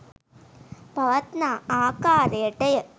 පවත්නා ආකාරයට ය.